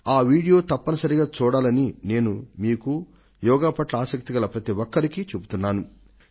ఆ వీడియో తప్పనిసరిగా చూడాలని నేను మీకూ యోగా పట్ల ఆసక్తి ఉన్న ప్రతివారికీ సూచిస్తున్నాను